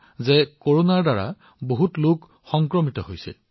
প্ৰেমজী মই আপোনাক আৰু সমগ্ৰ দেশৰ আপোনাৰ সকলো সহকৰ্মীক বহুতো সাধুবাদ দিছো